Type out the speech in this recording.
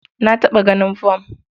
Na taɓa ganin fam.